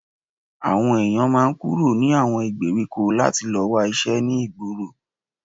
Àwọn èyàn máa ń kúrò ní àwọn ìgbèríko láti lọ wá iṣẹ́ ní ìgboro